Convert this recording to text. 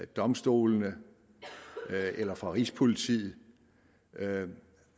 domstolene eller fra rigspolitiet